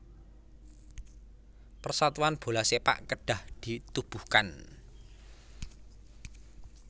Persatuan Bola Sepak Kedah ditubuhkan